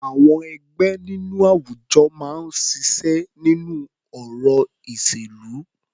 Àwọn ẹgbẹ́ nínú àwùjọ máa ń ṣiṣẹ́ nínú ọ̀rọ̀ ìṣèlú.